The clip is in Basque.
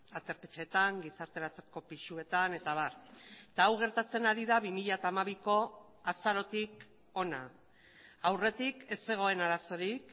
aterpe etxeetan gizarteratzeko pisuetan eta abar eta hau gertatzen ari da bi mila hamabiko azarotik hona aurretik ez zegoen arazorik